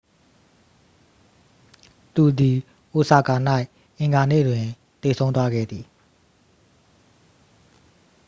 သူသည် အိုဆာကာ၌ အင်္ဂါနေ့တွင် သေဆုံးသွားခဲ့သည်